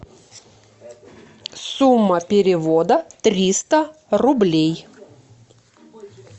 сумма перевода триста рублей